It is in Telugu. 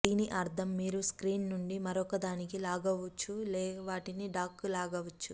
దీని అర్థం మీరు ఒక స్క్రీన్ నుండి మరొకదానికి లాగవచ్చు లేదా వాటిని డాక్కు లాగవచ్చు